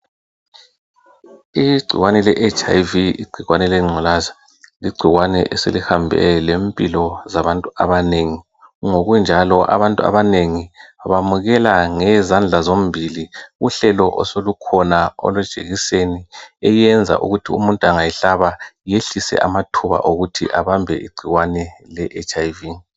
Igcikwane le HIV igcikwane lengculaza igcikwane eselihambe lempilo zabantu abanengi ngokunjalo abantu abanengi bamukela ngenzandla zombili uhlelo osolukhona olwejekiseni olwenza umuntu angayihlaba yehlise amathuba okuthi abambe igcikwane leHIV.